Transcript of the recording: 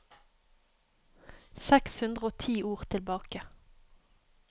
Seks hundre og ti ord tilbake